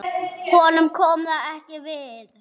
Honum kom það ekki við.